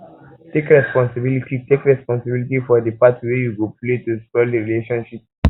take responsibility take responsibility for di part wey you play to spoil di relationship